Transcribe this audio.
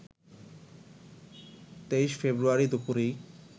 ২৩ February দুপুরেই